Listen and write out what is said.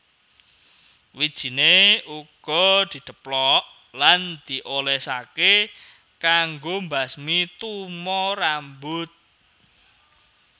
Wijiné uga didheplok lan diolèsaké kanggo mbasmi tumo rambut